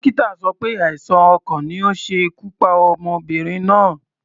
Dókítà sọ pé àìsàn ọkàn ni ó ṣe ikú pa ọmọbìnrin náà.